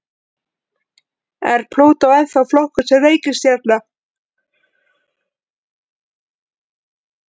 Er Plútó ennþá flokkuð sem reikistjarna?